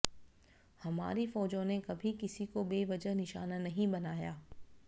हमारी फौजों ने कभी किसी को बेवजह निशाना नहीं बनाया